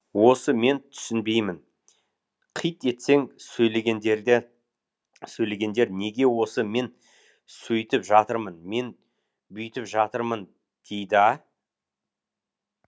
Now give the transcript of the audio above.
осы мен түсінбеймін қит етсең сөйлегендер неге осы мен сөйтіп жатырмын мен бүйтіп жатырмын дейді а